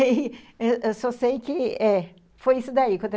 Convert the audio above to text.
Eu só sei que eh foi isso daí.